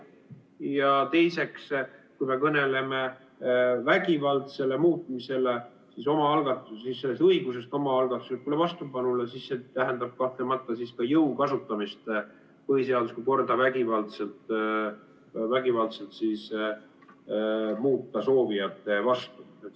Ja teiseks, kui me kõneleme vägivaldsest muutmisest, õigusest omaalgatuslikule vastupanule, siis see tähendab kahtlemata ka jõu kasutamist põhiseaduslikku korda vägivaldselt muuta soovijate vastu.